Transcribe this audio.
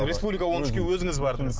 республика он үшке өзіңіз бардыңыз